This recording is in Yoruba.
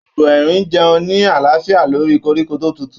Agbo erin n jẹun ni alaafia lori koríko to tutu.